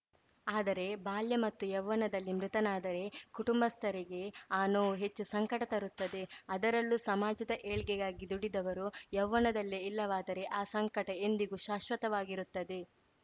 ಆದರೆ ಬಾಲ್ಯ ಮತ್ತು ಯೌವ್ವನದಲ್ಲಿ ಮೃತನಾದರೆ ಕುಟುಂಬಸ್ಥರಿಗೆ ಆ ನೊವು ಹೆಚ್ಚು ಸಂಕಟ ತರುತ್ತದೆ ಅದರಲ್ಲೂ ಸಮಾಜದ ಏಳ್ಗೆಗಾಗಿ ದುಡಿದವರು ಯೌವ್ವನದಲ್ಲೇ ಇಲ್ಲವಾದರೆ ಆ ಸಂಕಟ ಎಂದಿಗೂ ಶಾಶ್ವತವಾಗಿರುತ್ತದೆ